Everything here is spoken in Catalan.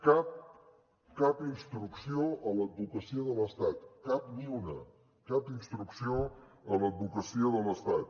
cap cap instrucció a l’advocacia de l’estat cap ni una cap instrucció a l’advocacia de l’estat